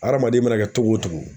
Adamaden mana kɛ togo o togo